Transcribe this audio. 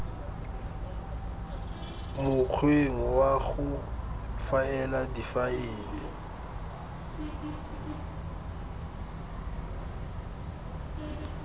mokgweng wa go faela difaele